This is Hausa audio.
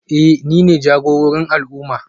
Eh nine jagororin al'umma